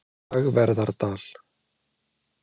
Dagverðardal